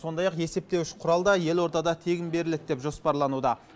сондай ақ есептуіш құрал да елордада тегін беріледі деп жоспарлануда